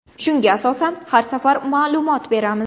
Shunga asosan har safar ma’lumot beramiz.